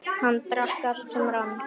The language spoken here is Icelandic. Hann drakk allt sem rann.